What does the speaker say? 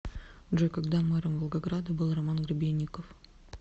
джой когда мэром волгограда был роман гребенников